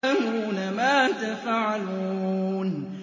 يَعْلَمُونَ مَا تَفْعَلُونَ